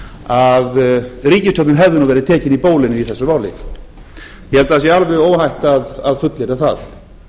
að ríkisstjórnin hefði nú verið tekin í bólinu í þessu máli ég held að það sé alveg óhætt að fullyrða það